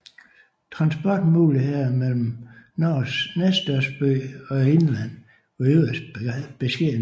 Transportmulighederne mellem Norges næststørste by og indlandet var yderst beskedne